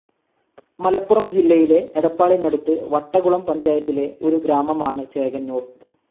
മലപ്പുറം ജില്ലയിലെ എടപ്പാളിനടുത് വട്ടകുളം പഞ്ചായത്തിലെ ഒരു ഗ്രാമമാണ് ചേകനൂർ.